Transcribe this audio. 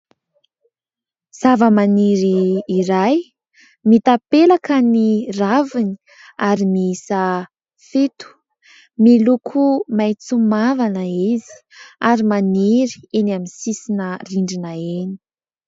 Zava-maniry iray, mitapelaka ny raviny ary miisa fito, miloko maitso mavana izy ary maniry eny amin'ny sisina rindrina eny.